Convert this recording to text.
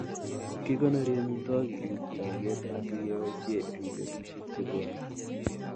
Kikonori amitwogik eng choget asikeboisie eng betusiek chebwone